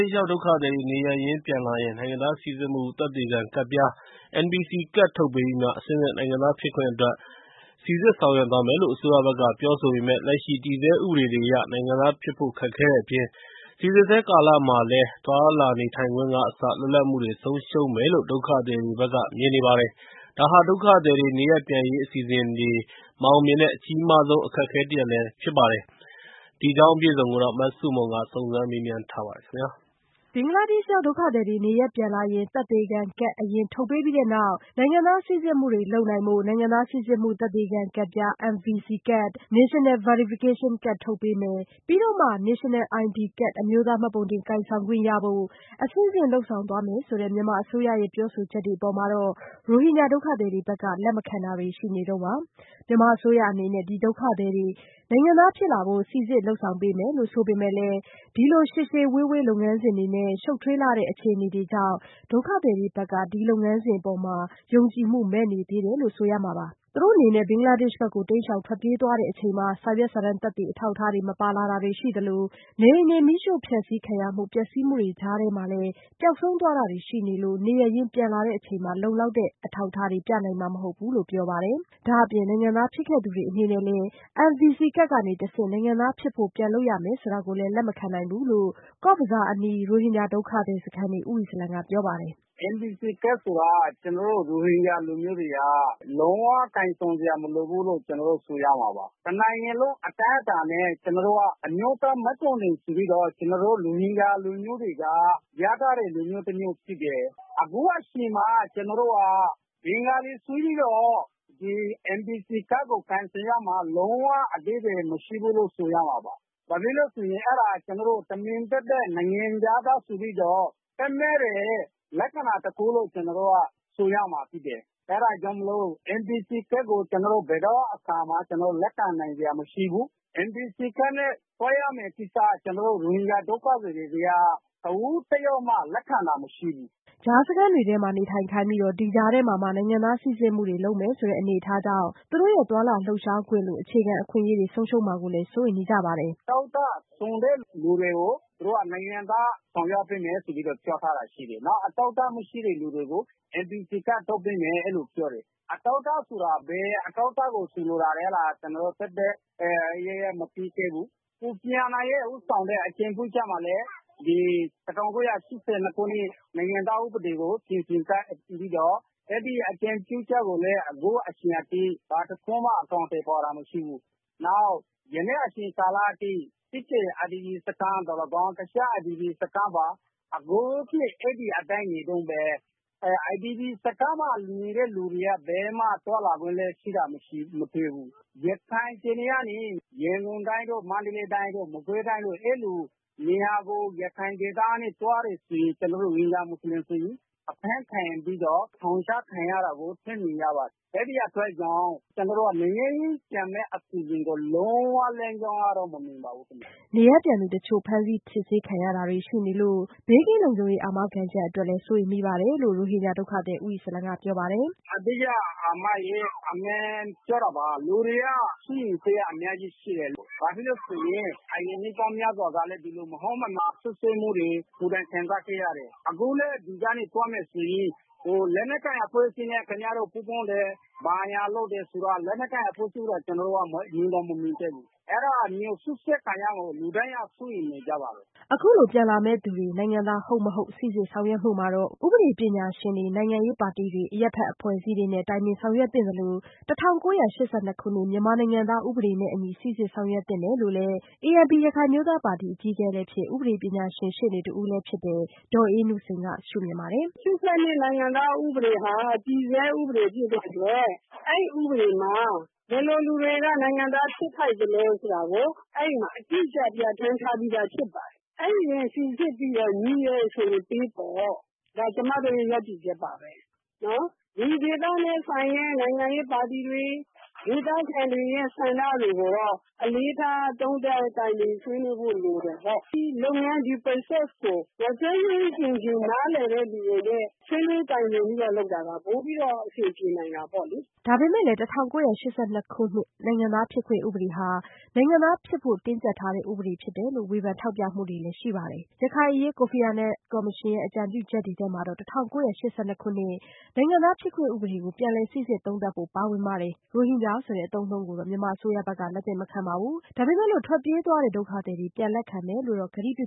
ှ်ရောက်ဒုက္ခသည်တွေ နေရပ်ရင်းပြန်လာရင် နိုင်ငံသားစိစစ်မှုသက်သေခံကဒ်ပြား NVC ကတ်ထုတ်ပေးပြီးမှ အဆင့်ဆင့်နိုင်ငံသားဖြစ်ခွင့်အတွက် စိစစ်ဆောင်ရွက်သွားမယ်လို့ အစိုးရဘက်က ပြောဆိုပေမယ့်၊ လက်ရှိတည်ဆဲ ဥပဒေတွေအရ နိုင်ငံသားဖြစ်ဖို့ခက်ခဲတဲ့အပြင် စီစစ်ဆဲကာလမှာလည်း သွားလာနေထိုင်ခွင့်ကအစ လွတ်လပ်မှုတွေ ဆုံးရှုံးမယ်လို့ ဒုက္ခသည်တွေဘက်က မြင်နေပါတယ်။ ဒါဟာ ဒုက္ခသည်တွေ နေရပ်ပြန်ရေးအစီအစဉ်တွေ မအောင်မြင်တဲ့ အကြီးမားဆုံး အခက်အခဲတရပ်လည်းဖြစ်နေတာပါ။ မဆုမွန်က စုံစမ်းမေးမြန်းထားပါတယ်။ ဘင်္ဂလားဒေ့ရှ်ရောက်ဒုက္ခသည်တွေ နေရပ်ပြန်လာရင် သက်သေခံကတ် အရင်ထုတ်ပေးပြီးနောက် နိုင်ငံသားစိစစ်မှုတွေလုပ်နိုင်ဖို့ နိုင်ငံသားစိစစ်မှု သက်သေခံကတ်ပြား NVC ကတ် (National Verification Card) ထုတ်ပေးမယ်၊ ပြီးတော့မှ National ID Card အမျိုးသားမှတ်ပုံတင် ကိုင်ဆောင်ခွင့်ရဖို့ အဆင့်ဆင့်လုပ်ဆောင်သွားမယ်ဆိုတဲ့ မြန်မာအစိုးရရဲ့ ပြောဆိုချက်တွေအပေါ်မှာ ရိုဟင်ဂျာဒုက္ခသည်တွေဘက်က လက်မခံတာတွေ ရှိနေတုန်းပါ။ မြန်မာအစိုးရအနေနဲ့ ဒီ ဒုက္ခသည်တွေကို နိုင်ငံသားဖြစ်လာဖို့ စီစစ်လုပ်ဆောင်ပေးမယ်လို့ ဆိုပေမယ့်လည်း ဒီလို ရှည်ရှည်ဝေးဝေးလုပ်ငန်းစဉ်တွေနဲ့၊ ရှုပ်ထွေးတဲ့အခြေအနေတွေကြောင့် ဒုက္ခသည်တွေဘက်ကတော့ ဒီလုပ်ငန်းစဉ်အပေါ်ယုံကြည်မှုမဲ့နေသေးတယ်လို့ဆိုရမှာပါ။ သူတို့အနေနဲ့ ဘင်္ဂလားဒေ့ရှ်ဘက်ကို တိမ်းရှောင်ထွက်ပြေးကြချိန် စာရွက်စာတမ်းသက်သေ အထောက်အထားတွေ မပါလာတာရှိသလို နေအိမ်မီးရှို့ ဖျက်ဆီးမှုတွေ ပျက်စီးမှုတွေကြားမှာလည်း ပျောက်ဆုံးသွားတာတွေရှိနေလို့ နေရပ်ရင်းပြန်လာတဲ့အချိန် လုံလောက်တဲ့ အထောက်အထားတွေ ပြနိုင်မှာမဟုတ်ဘူးလို့ပြောကြပါတယ်။ ဒါ့အပြင် နိုင်ငံသားဖြစ်ခဲ့သူတွေအနေနဲ့လည်း NVC ကဒ်ကနေ တဆင့် နိုင်ငံသား ဖြစ်ဖို့ပြန်လုပ်ရမယ်ဆိုတာကို လက်မခံနိုင်ဘူး လို့ ကော့ဇ်ဘဇားအနီး ဘာလုခါလီရိုဟင်ဂျာဒုက္ခသည်စခန်းနေ ရိုဟင်ဂျာဒုက္ခသည်ဦးအီစလံကပြောပါတယ်။ “NVC ကဒ်ကိုက ကျနော်တို့ ရိုဟင်ဂျာလူမျိုးတွေက လုံး၀ ကိုင်ဆောင်စရာမလိုဘူးလို့ ကျနော်တို့ ဆိုရမှာပါ။ တနိုင်ငံလုံးအတိုင်းအတာနဲ့ ကျနော်တို့က အမျိုးသားမှတ်ပုံတင်ဆိုပြီးတော့ ကျနော်တို့ ရိုဟင်ဂျာလူမျိုးတွေက ရထားတဲ့ လူမျိုးဖြစ်တယ်။ အခုအချိန်မှာ ကျနော်တို့က ဘင်္ဂလီဆိုပြီးတော့ NVC ကဒ်ကို ကိုင်ဆောင်ရမှာ လုံး၀ အဓိပ္ပါယ်မရှိဘူးလို့ဆိုရမှာပါ။ ဘာဖြစ်လို့ဆိုရင် အဲဒါ ကျနော်တို့ကို တမင်သပ်သပ် နိုင်ငံခြားသားဆိုပြီးတော့ သတ်မှတ်တဲ့ လက္ခဏာတခုလို့ ဆိုရမှာပါ။ အဲဒါကြောင့်မို့လို့ NVC ကဒ်ကို ကျနော်တို့ ဘယ်တော့အခါမှ လက်ခံနိုင်စရာမရှိဘူး။ NVC ကဒ်နဲ့ သွားရမယ့်ကိစ္စ ကျနော်တို့ ရိုဟင်ဂျာ ဒုက္ခသည်တွေက တဦးတယောက်မှ လက်ခံတာ မရှိဘူး။” ကြားစခန်းတွေမှာနေထိုင်ခိုင်းပြီး ဒီကြားထဲမှာ နိုင်ငံသားစီစစ်မှုတွေလုပ်မယ်ဆိုတဲ့အနေအထားကြောင့် သူတို့ရဲ့ သွားလာလှုပ်ရှားခွင့်လို အခြေခံအခွင့်အရေးတွေ ဆုံးရှုံးမှာကိုလည်း စိုးရိမ်နေကြပါတယ်။ “အထောက်အထားစုံတဲ့လူတွေကို သူတို့က နိုင်ငံသားဆောင်ရွက်ပေးမယ်ဆိုပြီးတော့ ပြောထားတာရှိတယ်။ နောက်အထောက်အထားမရှိတဲ့သူတွေကို NVC ကဒ်ထုတ်ပေးမယ်လို့ အဲလိုပြောတယ်။ အထောက်အထားဆိုတာ ဘယ်အထောက်အထားကို ဆိုလိုတာလဲ ဆိုတာ ကျနော်တို့ မသိသေးဘူး။ ကိုဖီအာနန်ဦးဆောင်တဲ့ အကြံပြုချက်မှာလည်း ၁၉၈၂ ခုနှစ် နိုင်ငံသားဥပဒေကို ပြင်ဆင်ချက်ပေးပြီးတော့ အဲဒီအကြံပြုချက်ကိုလည်း အခုအချိန်အထိ ဘာတခုမှ အကောင်အထည်ဖော်တာမရှိဘူး။ နောက်ယနေ့အချိန်ကာလအထိ စစ်တွေ IDP စခန်းသော်လည်းကောင်း တခြား IDP စခန်းတွေမှာပါ အခုအထိ အဲဒီအတိုင်း နေတုန်းပဲ IDP စခန်းမှာ နေတဲ့လူတွေက ဘယ်မှ သွားလာခွင့်လည်း မရှိဘူး။ ရခိုင်ပြည်နယ်ကနေ ရန်ကုန်တိုင်းတို့ မန္တလေးတိုင်းတို့ ၊ မကွေးတိုင်းတို့ အဲလိုနေရာကို ရခိုင်ကနေ သွားတယ်ဆိုရင် ကျနော်တို့ကို လွတ်လွတ်လပ်လပ်သွားလာခွင့်မပေးဘူး။ အဖမ်းခံပြီးတော့ ထောင်ချခံရတာကို ဆန့်ကျင်ကြပါတယ်။ အဲဒီအတွက်ကြောင့် ကျနော်တို့ နေရပ်ပြန်မယ့်အစီအစဉ်ကို လုံးဝလမ်းကြောင်းမမြင်ပါဘူးခင်ဗျ။” နေရပ်ပြန်သူအချို့ ဖမ်းဆီးစစ်ဆေးခံနေရတာတွေရှိလို့ ဘေးကင်းလုံခြုံရေး အာမခံချက်အတွက်လည်း စိုးရိမ်မိတယ်လို့ ရိုဟင်ဂျာဒုက္ခသည် ဦးအီစလံကပြောပါတယ်။ “အဓိကတော့ လူတွေက စိုးရိမ်စိတ်က အများကြီးရှိတယ်။ ဘာဖြစ်လို့ဆိုရင် အရင်နှစ်ပေါင်းများစွာ ကလည်း ဒီလို မဟုတ်မမှန် စွပ်စွဲမှုတွေ ကိုယ်တိုင် ခံစားခဲ့ရတယ်။ အခုလည်း ဒီကနေ သွားမယ်ဆိုရင် လက်နက်ကိုင်အဖွဲ့အစည်းနဲ့ ခင်ဗျားတို့ ပူးပေါင်းတယ်။ ဘာညာလုပ်တယ်ဆိုပြီး လက်နက်ကိုင် အဖွဲ့အစည်း ကို ကျနော်တို့က မြင်တောင်မမြင်ခဲ့ဘူး။ အဲဒါမျိုး စွပ်စွဲခံရမှာကို လူတိုင်းက စိုးရိမ်ပါတယ်။” အခုလို ပြန်လာမယ့်သူတွေ နိုင်ငံသားဟုတ်-မဟုတ် စိစစ်ဆောင်ရွက်မှုမှာ ဥပဒေပညာရှင်တွေ၊ နိုင်ငံရေးပါတီတွေနဲ့ အရပ်ဖက် အဖွဲ့အစည်းတွေနဲ့ တိုင်ပင်ဆောင်ရွက်သင့်သလို ၁၉၈၂ ခုနှစ် မြန်မာနိုင်ငံသားဥပဒေနဲ့အညီ စိစစ်ဆောင်ရွက်သင့်တယ်လို့လည်း ANP ရခိုင်အမျိုးသားပါတီအကြီးအကဲလည်းဖြစ် ဥပဒေပညာရှင်ရှေ့နေတဦးလည်းဖြစ်တဲ့ ဒေါ်အေးနုစိန်က မြင်ပါတယ်။ “၈၂ခုနှစ် နိုင်ငံသားဥပဒေဟာ တည်ဆဲဥပဒေဖြစ်တဲ့အတွက် အဲဒီဥပဒေမှာ ဘယ်လိုလူတွေက နိုင်ငံသားဖြစ်ထိုက်သလဲဆိုတာကို အဲဒီမှာ အတိအကျ ပြဌာန်းထားပြီးသား ဖြစ်ပါတယ်။ အဲဒါနဲ့ စိစစ်ပြီးတော့ ညီတယ်ဆိုရင် ပေးပေါ့။ ဒါက ကျမတို့ ရပ်တည်ချက်ပါပဲ။ ဒီဒေသနဲ့ဆိုင်တဲ့ နိုင်ငံရေးပါတီတွေ ဒေသခံတွေရဲ့ ဆန္ဒတွေရော အလေးထား သုံးသပ် တိုင်ပင် ဆွေးနွေးဖို့ လိုတယ်ပေါ့နော်။ ဒီကိစ္စကို ကျွမ်းကျွမ်းကျင်ကျင် နားလည်တဲ့လူတွေနဲ့ ဆွေးနွေးတိုင်ပြင်ပြီးတော့ လုပ်တာက ပိုပြီးတော့ အဆင်ပြေနိုင်တာပေါ့လေ။” ဒါပေမယ့်လည်း ၁၉၈၂ခုနှစ် နိုင်ငံသားဖြစ်ခွင့်ဥပဒေဟာ နိုင်ငံသားဖြစ်ဖို့တင်းကြပ်ထားတဲ့ ဥပဒေဖြစ်တယ်လို့ဝေဖန် ထောက်ပြမှုတွေလည်းရှိပါတယ်။ ရခိုင်အရေး ကိုဖီအာနန်ကော်မရှင် အကြံပြုချက်တွေထဲမှာ ၁၉၈၂ခုနှစ် နိုင်ငံသားဖြစ်ခွင့်ဥပဒေကို ပြန်လည်စိစစ်သုံးသပ်ဖို့ ပါဝင်ပါတယ်။ ရိုဟင်ဂျာဆိုတဲ့ အသုံးအနှုံးကိုတော့ မြန်မာအစိုးရဘက်က လက်သင့်မခံပါဘူး ဒါပေမယ့်လို့ ထွက်ပြေးသွားတဲ့ဒုက္ခသည်တွေကို ပြန်လက်ခံမယ်လို့တော့ ကတိပြ